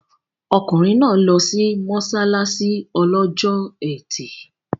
Ọkùnrin náà lọ sí mọ́ṣáláṣí lọ́jọ́ Ẹtì.